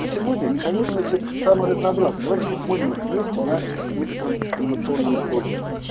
на сегодня механизмы эти самые разнообразные давайте посмотрим их вместе на некотором анимационном ролике